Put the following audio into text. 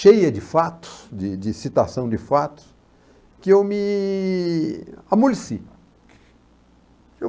cheia de fatos, de de citação de fatos, que eu me amoleci.